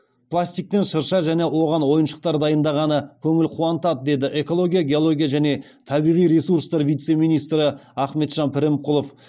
пластиктен шырша және оған ойыншықтар дайындағаны көңіл қуантады деді экология геология және табиғи ресурстар вице министрі ахметжан пірімқұлов